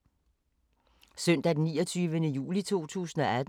Søndag d. 29. juli 2018